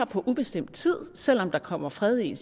på ubestemt tid selv om der kommer fred i